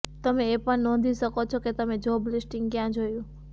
તમે એ પણ નોંધી શકો છો કે તમે જોબ લિસ્ટિંગ ક્યાં જોયું